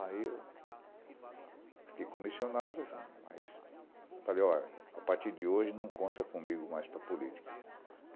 Aí eu fiquei comissionado, mas falei, olha, a partir de hoje não conta comigo mais para política.